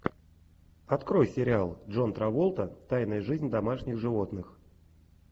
открой сериал джон траволта тайная жизнь домашних животных